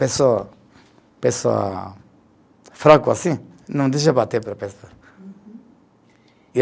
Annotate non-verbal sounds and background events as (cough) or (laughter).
Pessoa, pessoa fraco assim, não deixa bater (unintelligible)